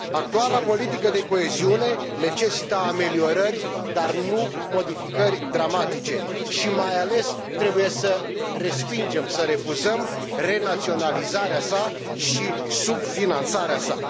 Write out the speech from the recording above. Actuala politică de coeziune necesită ameliorări, dar nu modificări dramatice și, mai ales, trebuie să respingem, să refuzăm renaționalizarea sa și subfinanțarea sa.